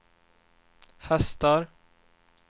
hästar